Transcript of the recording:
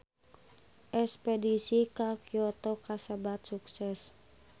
Espedisi ka Kyoto kasebat sukses